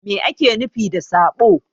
Mai ake nufi da saɓo?